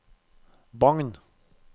Bagn